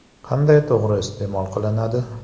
Qanday to‘g‘ri iste’mol qilinadi?